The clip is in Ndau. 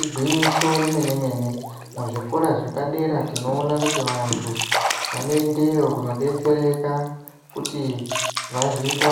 Igwinyiso remene-mene, muzvikora zvepadera tinoone kuti vantu vanoendeyo kunodetsereka kuti vazoita